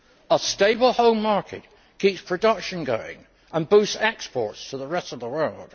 A stable home market keeps production going and boosts exports to the rest of the world.